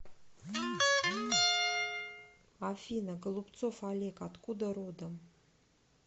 афина голубцов олег откуда родом